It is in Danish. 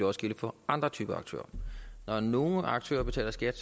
også gælde for andre typer af aktører når nogle aktører betaler skat